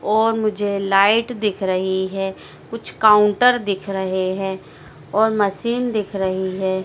और मुझे लाइट दिख रही है कुछ काउंटर दिख रहे हैं और मशीन दिख रही है।